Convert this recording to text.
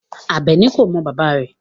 Abeni ko mo baba re